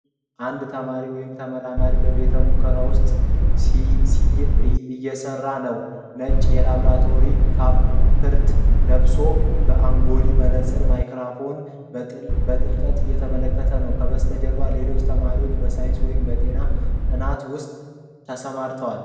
አንድ ተማሪ ወይም ተመራማሪ በቤተ-ሙከራ ውስጥ ሲእየሰራ ነው። ነጭ የላብራቶሪ ካፖርት ለብሶ በአጉሊ መነጽር (ማይክሮስኮፕ) በጥልቀት እየተመለከተ ነው። ከበስተጀርባም ሌሎች ተማሪዎች በሳይንስ ወይም በጤና ጥናት ውስጥ ተሰማርተዋል።